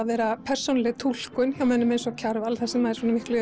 vera persónuleg túlkun hjá mönnum eins Kjarval sem er